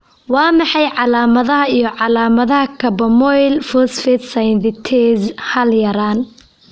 Waa maxay calaamadaha iyo calaamadaha Carbamoyl phosphate synthetase hal yaraan?